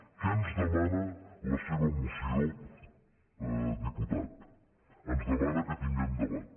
què ens demana la seva moció diputat ens demana que tinguem debat